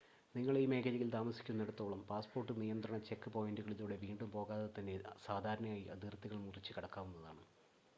നിങ്ങൾ ഈ മേഖലയിൽ താമസിക്കുന്നിടത്തോളം പാസ്സ്പോർട്ട് നിയന്ത്രണ ചെക്ക് പോയിൻ്റുകളിലൂടെ വീണ്ടും പോകാതെതന്നെ സാധാരണയായി അതിർത്തികൾ മുറിച്ച് കടക്കാവുന്നതാണ്